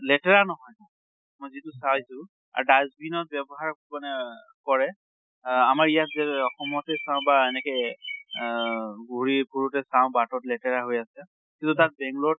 লেতেৰা নহয় মই যিটো চাইছো আৰু dustbin ৰ ব্য়ৱহাৰ মানে কৰে। আহ আমাৰ ইয়াত যে এহ অসমতে চাওঁ বা এনেকে এহ ঘুৰি ফুৰোতে চাওঁ বাটত লেতেৰা হৈ আছে। কিন্তু তাত বাংলʼৰ ত